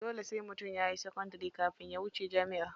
Dole sai mutum yayi sakandari kafin ya wuce jami'a.